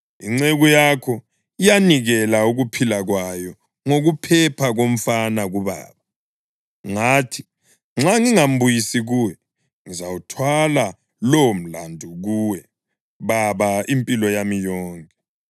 Inceku yakho yanikela ukuphila kwayo ngokuphepha komfana kubaba. Ngathi, ‘Nxa ngingambuyisi kuwe, ngizawuthwala lowomlandu kuwe, baba, impilo yami yonke!’